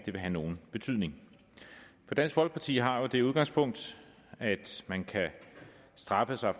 vil have nogen betydning for dansk folkeparti har jo det udgangspunkt at man kan straffe sig